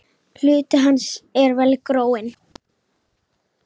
Hluti hans er vel gróinn.